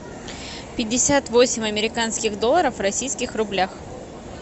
пятьдесят восемь американских долларов в российских рублях